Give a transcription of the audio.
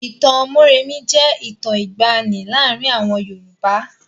Ìtàn Mórèmí jẹ́ ìtàn ìgbàanì láàárin àwọn Yorùbá.